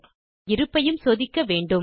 மேலும் இருப்பையும் சோதிக்க வேண்டும்